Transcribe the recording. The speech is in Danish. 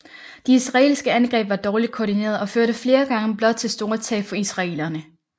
De israelske angreb var dårligt koordinerede og førte flere gange blot til store tab for israelerne